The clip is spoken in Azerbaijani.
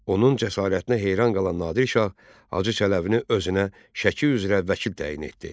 Onun cəsarətinə heyran qalan Nadir şah Hacı Çələbini özünə Şəki üzrə vəkil təyin etdi.